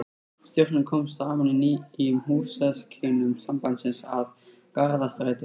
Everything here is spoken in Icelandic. Stjórnin kom saman í nýjum húsakynnum sambandsins að Garðastræti